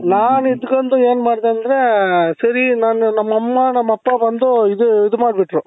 ನಾನಿದ್ದುಕೊಂಡು ಏನ್ ಮಾಡ್ದೆ ಅಂದ್ರೆ ಸರಿ ನಾನು ನಮ್ಮಮ್ಮ ನಮ್ಮಪ್ಪ ಬಂದು ಇದು ಇದು ಮಾಡ್ಬಿಟ್ರು.